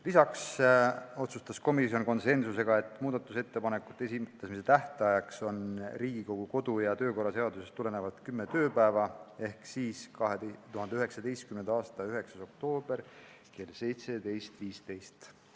Lisaks otsustas komisjon , et muudatusettepanekute esitamise tähtaeg on Riigikogu kodu- ja töökorra seadusest tulenev kümme tööpäeva ehk tähtpäev on 2019. aasta 9. oktoober kell 17.15.